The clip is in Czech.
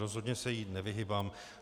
Rozhodně se jí nevyhýbám.